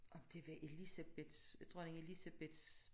Om det var Elisabeth Dronning Elisabeths